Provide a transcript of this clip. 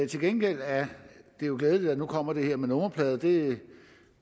til gengæld er det jo glædeligt at der nu kommer det her med nummerpladerne det